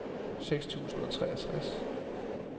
seks tusind og treogtres